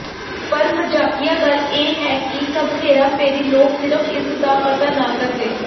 ਪਰ ਮਜ਼ਾਕੀਆ ਗੱਲ ਇਹ ਹੈ ਕਿ ਸਭ ਹੇਰਾਫੇਰੀ ਲੋਕ ਸਿਰਫ਼ ਇਸ ਦਾ ਪਤਾ ਨਾ ਕਰਦੇ